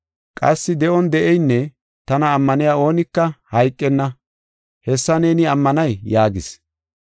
Qassi de7on de7eynne tana ammaniya oonika hayqenna. Hessa neeni ammanay?” yaagis.